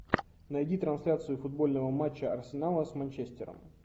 найди трансляцию футбольного матча арсенала с манчестером